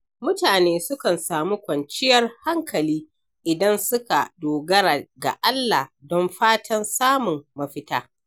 Mutane sukan samu kwanciyar hankali idan suka dogara ga Allah don fatan samun mafita.